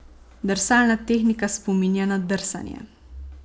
Drsalna tehnika spominja na drsanje.